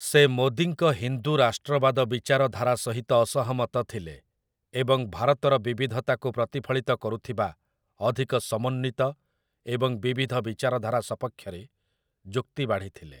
ସେ ମୋଦୀଙ୍କ ହିନ୍ଦୁ ରାଷ୍ଟ୍ରବାଦ ବିଚାରଧାରା ସହିତ ଅସହମତ ଥିଲେ, ଏବଂ ଭାରତର ବିବିଧତାକୁ ପ୍ରତିଫଳିତ କରୁଥିବା ଅଧିକ ସମନ୍ୱିତ ଏବଂ ବିବିଧ ବିଚାରଧାରା ସପକ୍ଷରେ ଯୁକ୍ତି ବାଢ଼ିଥିଲେ ।